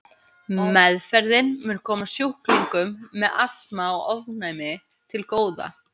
Meðferðin mun koma sjúklingum með astma og ofnæmi til góða.